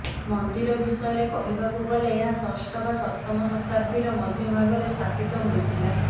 ମନ୍ଦିର ବିଷୟରେ କହିବାକୁ ଗଲେ ଏହା ଷଷ୍ଠ ବା ସପ୍ତମ ଶତାବ୍ଦୀର ମଧ୍ୟ ଭାଗରେ ସ୍ଥାପିତ ହୋଇଥିଲା